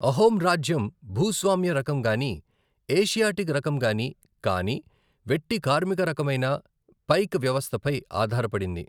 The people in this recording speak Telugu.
అహోమ్ రాజ్యం భూస్వామ్య రకం గానీ, ఏషియాటిక్ రకం గానీ కాని వెట్టి కార్మిక రకమైన పైక్ వ్యవస్థపై ఆధారపడింది.